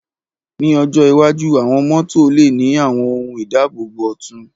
Ní ọjọ́ iwájú, àwọn mọ́tò lè ní àwọn ohun ìdáàbòbò ọ̀tun